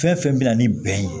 Fɛn fɛn bɛ na ni bɛn ye